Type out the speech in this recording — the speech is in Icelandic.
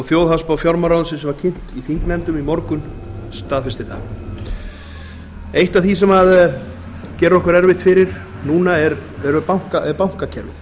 þjóðhagsspá fjármálaráðuneytisins var kynnt í þingnefndum í morgun staðfestir það eitt af því sem gerir okkur erfitt fyrir núna er bankakerfið